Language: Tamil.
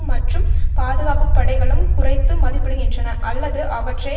மற்றும் பாதுகாப்பு படைகளும் குறைத்து மதிப்பிடுகின்றன அல்லது அவற்றை